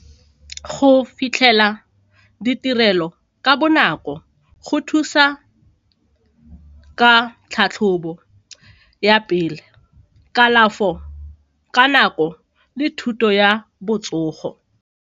Go fitlhela ditirelo ka bonako go thusa ka tlhatlhobo ya pele, kalafo ka nako le thuto ya botsogo.